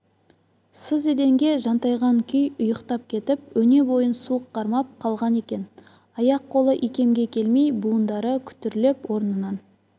сыз еденге жантайған күй ұйықтап кетіп өне бойын суық қармап қалған екен аяқ-қолы икемге келмей буындары күтірлеп орнынан